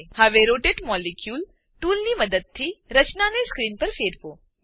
હવે rotate molecule rotate molecule ટૂલની મદદથી રચનાને સ્ક્રીન પર ફેરવો